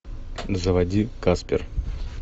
заводи каспер